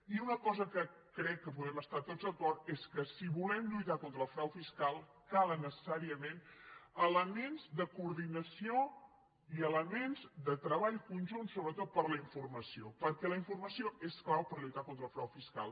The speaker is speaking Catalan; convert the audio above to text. i una cosa en què crec que podem estar tots d’acord és que si volem lluitar contra el frau fiscal calen neces·sàriament elements de coordinació i elements de tre·ball conjunt sobretot per la informació perquè la in·formació és clau per lluitar contra el frau fiscal